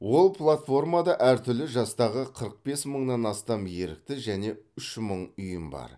ол платформада әртүрлі жастағы қырық бес мыңнан астам ерікті және үш мың ұйым бар